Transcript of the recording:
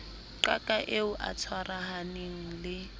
qaka eo a tshwarahaneng le